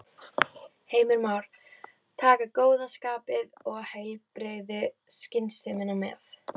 Heimir Már: Taka góða skapið og heilbrigðu skynsemina með?